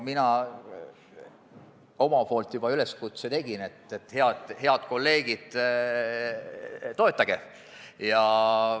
Mina juba tegin üleskutse: head kolleegid, toetage!